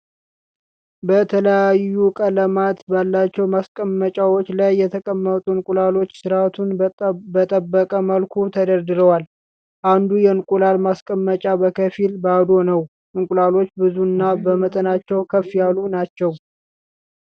በተለያዩ ቀለማት ባላቸው ማስቀመጫዎች ላይ የተቀመጡ እንቁላሎች ስርአቱን በጠበቀ መልኩ ተደርድረዋል። አንዱ የእንቁላል ማስቀመጫ በከፊል ባዶ ነው። እንቁላሎቹ ብዙ እና በመጠናቸው ከፍ ያሉ ናቸው።